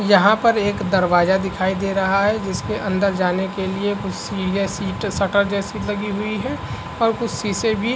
यहाँ पर एक दरवाजा दिखाय दे रहा है जिसके अंदर जाने के लिए कुछ सटर जैसी लगी हुई है और कुछ सीसे भी --